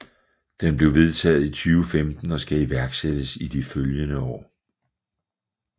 Den blev vedtaget i 2015 og skal iværksættes i de følgende år